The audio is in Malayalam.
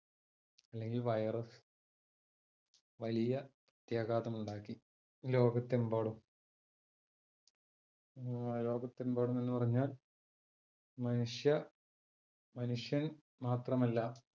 അല്ലെങ്കിൽ virus വലിയ പ്രത്യാഘാതം ഉണ്ടാക്കി. ലോകത്ത് എമ്പാടും ലോകത്ത് എമ്പാടും എന്ന് പറഞ്ഞാൽ മനുഷ്യ മനുഷ്യൻ മാത്രം അല്ലാ,